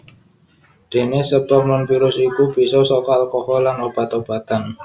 Dene sebab nonvirus iku bisa saka alkohol lan obat obatan